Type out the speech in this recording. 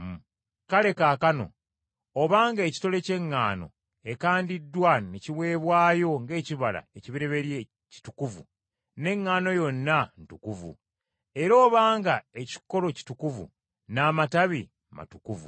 Kale kaakano obanga ekitole ky’eŋŋano ekandiddwa ne kiweebwayo ng’ekibala ekibereberye kitukuvu, n’eŋŋaano yonna ntukuvu; era obanga ekikolo kitukuvu, n’amatabi matukuvu.